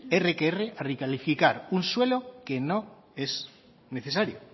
erre que erre a recalificar un suelo que no es necesario